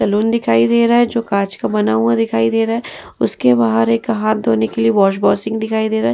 Salon दिखाई दे रहा है जो काँच का बना दिखाई दे रहा है। उसके बाहर एक हाथ धोने के लिए वॉश बेसिन दिखाई दे रहा है।